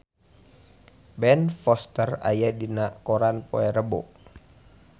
Ben Foster aya dina koran poe Rebo